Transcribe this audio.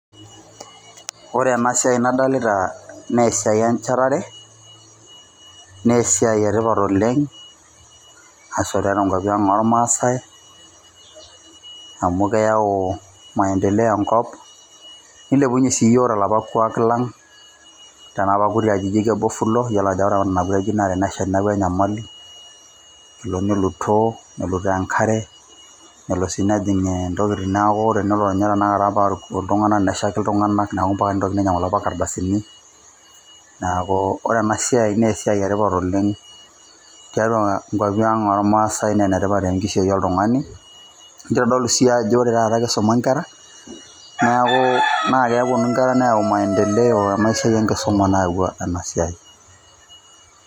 Ore enasiai nadolita naa esiai enchetare, nesiai etipat oleng',ashu tiatua nkwapi ang' ormaasai, amu keyau maendeleo enkop, nilepunye si yiok talapa kuak labg',tanapa kuti ajijik ebofulo, yiolo ajo eetae apa nena kuti ajijik naa tenesha neeku enyamali, kelo nilutoo nelutoo enkare, nelo si nejing' intokiting neeku tenelo nye tanakata pariku iltung'anak, neshaiki iltung'anak. Neeku mpaka nitokini ainyang'u lapa kardasini, neeku ore enasiai nesiai etipat oleng' tiatua inkwapi ang' ormaasai na enetipat tenkishui oltung'ani, nitodolu si ajo ore taata kisuma nkera, neeku nakeponu nkera neeu maendeleo ,enasiai enkisuma naawua enasiai.